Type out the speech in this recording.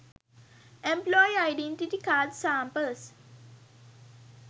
employee identity card samples